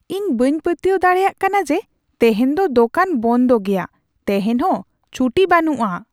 ᱤᱧ ᱵᱟᱹᱧ ᱯᱟᱹᱛᱭᱟᱹᱣ ᱫᱟᱲᱮᱭᱟᱜ ᱠᱟᱱᱟ ᱡᱮ ᱛᱮᱦᱮᱧ ᱫᱚ ᱫᱚᱠᱟᱱ ᱵᱚᱱᱫᱚ ᱜᱮᱭᱟ ! ᱛᱮᱦᱮᱧ ᱦᱚᱸ ᱪᱷᱩᱴᱤ ᱵᱟᱹᱱᱩᱜᱼᱟ ᱾